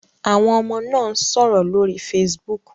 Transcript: Àwọn ọmọ náà ń sọ̀rọ̀ lórí Facebook